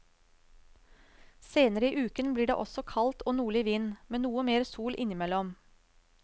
Senere i uken blir det også kaldt og nordlig vind, med noe mer sol innimellom.